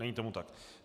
Není tomu tak.